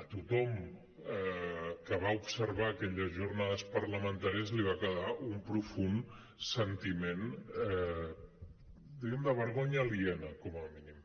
a tothom que va observar aquelles jornades parlamentàries li va quedar un profund sentiment diguem ne de vergonya aliena com a mínim